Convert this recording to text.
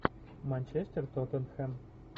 манчестер тоттенхэм